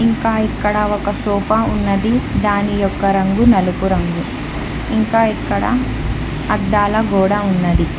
ఇంకా ఇక్కడ ఒక సోఫా ఉన్నది దాని యొక్క రంగు నలుపు రంగు ఇంకా ఇక్కడ అద్దాల గోడ ఉన్నది.